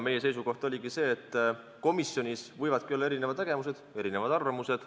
Meie seisukoht oligi, et komisjonis võivad olla erinevad nägemused ja erinevad arvamused.